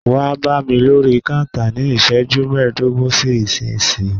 Wá bámi lórí kántà ní iṣẹ́jú mẹdogun sí ìsínyìí!